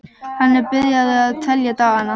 Hann er byrjaður að telja dagana.